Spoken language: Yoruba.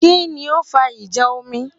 Kí ni ó fa ìjà omi?